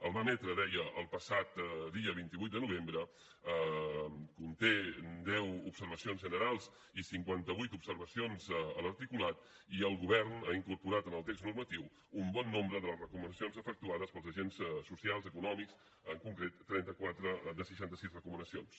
el va emetre deia el passat dia vint vuit de novembre conté deu observacions generals i cinquanta vuit observacions l’articulat i el govern ha incorporat en el text normatiu un bon nombre de les recomanacions efectuades pels agents socials i econòmics en concret trenta quatre de seixanta sis recomanacions